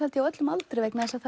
á öllum aldri vegna þess að